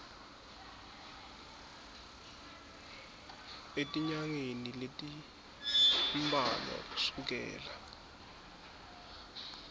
etinyangeni letimbalwa kusukela